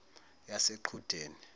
yaseqhudeni